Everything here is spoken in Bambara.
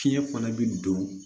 Fiɲɛ fana bi don